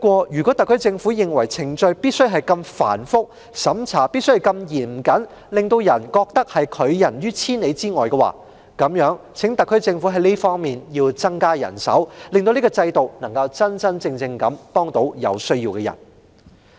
如果特區政府認為程序必須如此繁複、審查必須如此嚴謹，令市民感到被拒於千里之外的話，那麼就請特區政府增加這方面的人手，令這個制度能真正幫助有需要的人。